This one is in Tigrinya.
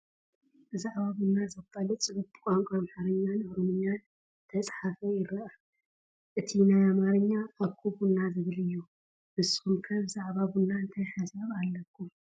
ብዛዕባ ቡና ዘፋልጥ ፅሑፍ ብቋንቋ ኣማርኛን ኦሮምኛን ዝተፃሕፈ ይረአ፡፡ እቲ ናይ ኣማርኛ ኣኮ ቡና ዝብል እዩ፡፡ ንስኹም ከ ብዛዕባ ቡና እንታይ ሓሳብ ኣለኩም?